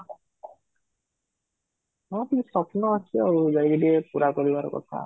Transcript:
ହଁ, କିଛି ସ୍ବପ୍ନ ଅଛି ଆଉ ଯାଇକି ଟିକେ ପୁରା କରିବାର କଥା